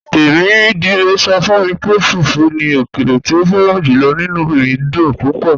"Tẹmidire sọ fun mi pé fùfù ni ọkèlè tí o fẹ̀ràn júlọ̀, inú mi dún púpọ̀."